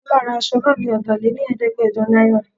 Kọ́lá ra aṣọ náà ni ọta lé ní Ẹ̀ẹ́dẹ́gbẹjọ náírà.